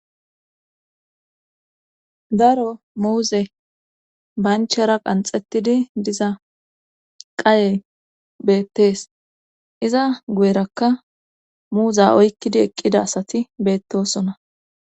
Daro muuze banchara qanxetidi diza qayey beettees iza guyerakka muuza oykkidi eqqida asati beettosona